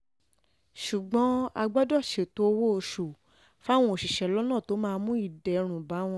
ṣùgbọ́n a gbọ́dọ̀ ṣètò owó-oṣù fáwọn òṣìṣẹ́ lọ́nà tó máa mú ìdẹ̀rùn bá wọn